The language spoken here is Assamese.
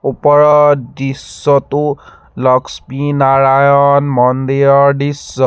ওপৰৰ দৃশ্যটো লক্ষ্মী নাৰায়ন মন্দিৰৰ দৃশ্য।